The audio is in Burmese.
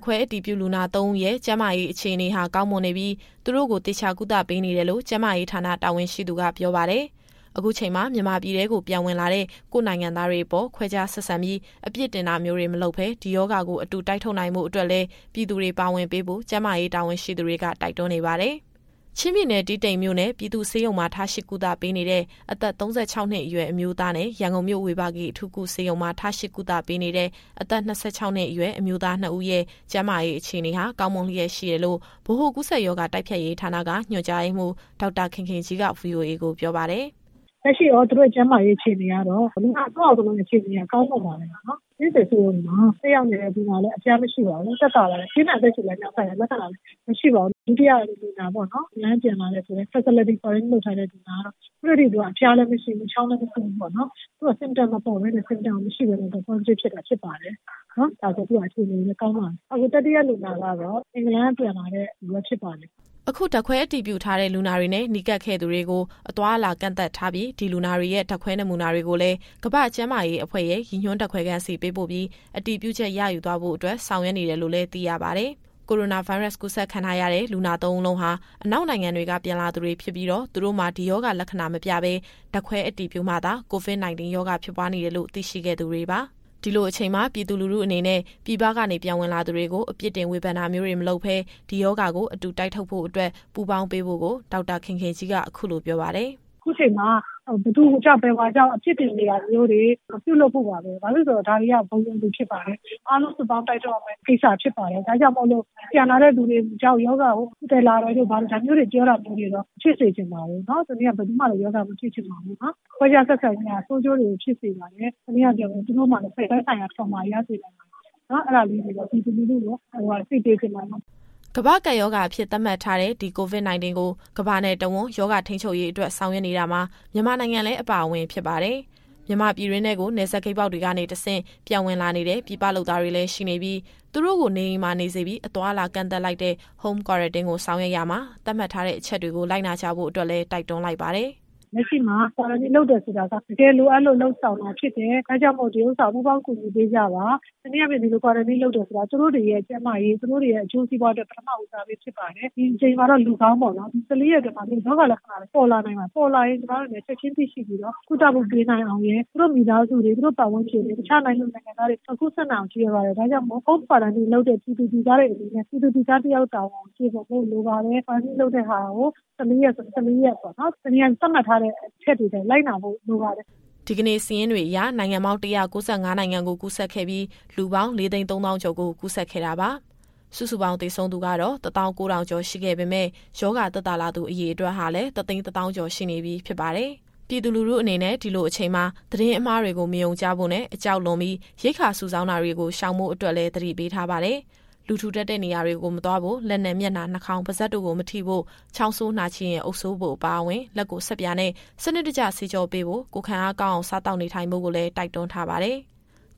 ခွဲအတည်ပြုလူနာ သုံးဦးရဲ့ ကျန်းမာရေးအခြေအနေဟာ ကောင်းမွန်နေပြီး သူတို့ကို သေချာကုသပေးနေတယ်လို့ ကျန်းမာရေးဌာနတာဝန်ရှိသူက ပြောပါတယ်။ အခုချိန်မှာ မြန်မာပြည်ထဲကို ပြန်ဝင်လာတဲ့ ကိုယ့်နိုင်ငံသားတွေအပေါ် ခွဲခြားဆက်ဆံပြီး အပြစ်တင်တာမျိုးတွေ မလုပ်ဘဲ ဒီရောဂါကို အတူ တိုက်ထုတ်နိုင်ဖို့အတွက်လည်း ပြည်သူတွေပါဝင်ပေးဖို့ ကျန်းမာရေးတာဝန်ရှိသူတွေက တိုက်တွန်းနေပါတယ်။ အပြည့်အစုံကို ဗွီအိုအေမြန်မာပိုင်း သတင်းထောက် စုစုက ပြောပြသွားမှာပါ။ ချင်းပြည်နယ်၊ တီးတိန်မြို့နယ် ပြည်သူ့ဆေးရုံမှာ ထားရှိကုသပေးနေတဲ့ အသက် ၃၆နှစ်အရွယ် အမျိုးသားနဲ့ ရန်ကုန်မြို့ ဝေဘာဂီအထူးကုဆေးရုံမှာ ထားရှိကုသပေးနေတဲ့ အသက် ၂၆ နှစ်အရွယ် အမျိုးသား နှစ်ဦးရဲ့ ကျန်းမာရေးအခြေအနေဟာ ကောင်းမွန်လျက်ရှိတယ်လို့ ဗဟိုကူးစက်ရောဂါ တိုက်ဖျက်ရေးဌာနက ညွှန်ကြားရေးမှူး ဒေါက်တာခင်ခင်ကြီးက ဗွီအိုအေကို ပြောပါတယ်။ "လက်ရှိသူတို့ရဲ့ အခြေအနေကတော့ လူနာသုံးယောက်လုံးရဲ့ ကျန်းမာရေး အခြေအနေက ကောင်းမွန်ပါတယ်။ တီးတိန်ဆေးရုံမှာ တက်ရောက်နေတဲ့ လူနာကလည်း အဖျားမရှိပါဘူး။ သက်သာပါတယ်။ ပြင်းထန်အသက်ရှူလမ်းကြောင်းဆိုင်ရာ လက္ခဏာလည်း မရှိပါဘူး။ ဒုတိယလူနာဖြစ်တဲ့ အင်္ဂလန်ကပြန်လာတဲ့ Facility Quarantine လုပ်ထားတယ်ဆိုတဲ့လူနာက ခုထက်ထိသူက အဖျားလည်းမရှိဘူး၊ ချောင်းလည်း မဆိုးဘူးပေါ့နော်။ သူက Symptom မပေါ်ဘဲနဲ့ Positive ဖြစ်တာ ဖြစ်ပါတယ်။ သူ့ရဲ့အခြေအနေလည်း ကောင်းပါတယ်။ အခု တတိယလူနာကတော့ အင်္ဂလန်ကပြန်လာတာဖြစ်ပါတယ်။ သူ့ရဲ့အခြေအနေကလည်း ကောင်းမွန်ပါတယ်။" အခု ဓာတ်ခွဲအတည်ပြုထားတဲ့ လူနာတွေနဲ့ နီးကပ်ခဲ့သူတွေကို အသွားအလာကန့်သတ်ထားပြီး၊ လူနာတွေရဲ့ ဓာတ်ခွဲနမူနာတွေကိုလည်း ကမ္ဘာ့ကျန်းမာရေးအဖွဲ့ရဲ့ ရည်ညွှန်းဓာတ်ခွဲခန်းဆီ ပေးပို့ပြီး အတည်ပြုချက်ရယူသွားဖို့အတွက် ဆောင်ရွက်နေတယ်လို့လည်း သိရပါတယ်။ ကိုရိုနာဗိုင်းရပ်စ်ကူးစက်ခံထားရတဲ့ လူနာသုံးဦးလုံးဟာ အနောက်နိုင်ငံတွေက ပြန်လာသူတွေဖြစ်ပြီးတော့ သူတို့မှာ ဒီရောဂါလက္ခဏာမပြဘဲ ဓာတ်ခွဲအတည်ပြုမှသာ COVID- 19 ရောဂါဖြစ်ပွားနေတယ်လို့ သိရှိခဲ့သူတွေပါ။ ဒီလိုအချိန်မှာ ပြည်သူလူထုအနေနဲ့ ပြည်ပကနေပြန်ဝင်လာသူတွေကို အပြစ်တင်ဝေဖန်တာမျိုးတွေ မလုပ်ဘဲ ဒီရောဂါကိုအတူတိုက်ထုတ်ဖို့အတွက် ပူးပေါင်းပေးဖို့ကို ဒေါက်တာခင်ခင်ကြီးက အခုလိုပြောပါတယ်။ "အခုချိန်မှာ ဘယ်သူကြောင့် ဘယ်ဝါကြောင့် အပြစ်တင်နေတာမျိုးတွေ မပြုလုပ်ဖို့ပါပဲ။ ဘာဖြစ်လို့လည်းဆိုတော့ ဒါတွေက ဘုံရန်သူဖြစ်ပါတယ်။ အားလုံးစုပေါင်း တိုက်ထုတ်ရမယ့်ကိစ္စဖြစ်ပါတယ်။ ဒါကြောင့်မို့ ပြန်လာတဲ့သူတွေကြောင့် ရောဂါကို သယ်လာတယ်တို့ ဘာတို့ ဒါမျိုးတွေ ပြောတာတွေကိုတော့ မဖြစ်စေချင်ပါဘူး။ ဘယ်သူမှလည်း ရောဂါမဖြစ်ချင်ပါဘူး။ ခွဲခြားဆက်ဆံခြင်းဟာ ဆိုးကျိုးတွေကိုဖြစ်စေပါတယ်။ တနည်းအားဖြင့်ပြောရင် သူတို့မှာလည်း သက်ဆိုင်ရာ Trauma တွေ ရစေပါတယ်။ အဲဒါလေးတွေတော့ ပြည်သူလူထုကို အသိပေးချင်ပါတယ်။" ကမ္ဘာ့ကပ်ရောဂါအဖြစ် သတ်မှတ်ထားတဲ့ ဒီ COVID-19 ကို ကမ္ဘာနဲ့တဝန်း ရောဂါထိန်းချုပ်ရေးအတွက် ဆောင်ရွက်နေတာမှာ မြန်မာနိုင်ငံလည်း အပါအဝင်ဖြစ်ပါတယ်။ မြန်မာပြည်တွင်းထဲကို နယ်စပ်ဂိတ်ပေါက်တွေကနေ တဆင့် ပြန်ဝင်လာနေတဲ့ ပြည်ပလုပ်သားတွေလည်း ရှိနေပြီး သူတို့ကို နေအိမ်မှာနေစေပြီး အသွားအလာကန့်သတ်လိုက်တဲ့ Home Quarantine ကိုဆောင်ရွက်တာမှာ သတ်မှတ်ထားတဲ့အချက်တွေကို လိုက်နာကြဖို့အတွက်လည်း တိုက်တွန်းလိုက်ပါတယ်။ "လက်ရှိမှာ Quarantine လုပ်တယ်ဆိုတာက တကယ်လိုအပ်လို့ လုပ်ဆောင်တာဖြစ်တယ်။ ဒါကြောင့်မို့ ဒါကိုပူးပေါင်း ကူညီပေးကြပါ။ တနည်းအားဖြင့် ဒီလို Quarantine လုပ်တာဟာ သူတို့တွေရဲ့ ကျန်းမာရေး၊ အကျိုးစီးပွားအတွက် ပထမဦးစားပေးဖြစ်ပါတယ်။ ဒီအချိန်မှာတော့ လူကောင်းပေါ့နော်။ ဒါပေမဲ့ ၁၄ ရက်အတွင်းမှာ ရောဂါလက္ခဏာတွေ ပေါ်လာနိုင်ပါတယ်။ ပေါ်လာရင် ကျမတို့အနေနဲ့ ချက်ချင်းသိရှိပြီးတော့ ကုသမှုပေးနိုင်အောင်ရယ်၊ သူတို့မိသားစု၊ ပတ်ဝန်းကျင်၊ တခြားနိုင်ငံသူ နိုင်ငံသားတွေ မကူးစက်နိုင်အောင် ရည်ရွယ်ပါတယ်။ ဒါကြောင့်မို့ Home Quarantine လုပ်တဲ့ ပြည်သူတွေအနေနဲ့ ပြည်သူလူသားတယောက် တာဝန်ကိုကျေပွန်ဖို့ လိုပါတယ်။ Quarantine လုပ်တဲ့ဟာကို ၁၄ ရက်ဆို ၁၄ ရက်ပေါ့နော်။ တနည်းအားဖြင့် သတ်မှတ်ထားတဲ့ အချက်တွေအတိုင်း လိုက်နာဖို့ လိုပါတယ်။" ဒီကနေ့စာရင်းတွေအရ နိုင်ငံပေါင်း ၁၉၅နိုင်ငံကို ကူးစက်ခဲ့ပြီး၊ လူပေါင်း ၄၃၀,၀၀၀ ကျော်ကို ကူးစက်ခဲ့တာပါ။ စုစုပေါင်း သေဆုံးသူ ၁၉,၀၀၀ ကျော်ရှိခဲ့ပေမယ့် ရောဂါသက်သာလာသူ အရေအတွက်ဟာလည်း ၁၁၀,၀၀၀ ကျော် ရှိနေပြီဖြစ်ပါတယ်။ ပြည်သူလူထုအနေနဲ့ ဒီလိုအချိန်မှာ သတင်းအမှားတွေကို မယုံကြဖို့နဲ့ အကြောက်လွန်ပြီး ရိက္ခာစုဆောင်းတာတွေကို ရှောင်ဖို့အတွက်လည်း သတိပေးထားပါတယ်။ လူထူထပ်တဲ့နေရာတွေကို မသွားဖို့၊ လက်နဲ့ မျက်နှာ နှာခေါင်း ပါးစပ်တို့ကို မထိဖို့၊ ချောင်းဆိုးနှာချေရင် အုပ်စိုးဖို့အပါအဝင်၊ လက်ကိုဆပ်ပြာနဲ့ စနစ်တကျ သေချာဆေးကြောပေးဖို့၊ ကိုယ်ခံအားကောင်းအောင် စားသောက်နေထိုင်ဖို့ကိုလည်း တိုက်တွန်းထားပါတယ်။